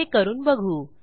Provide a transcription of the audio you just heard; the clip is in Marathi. हे करून बघू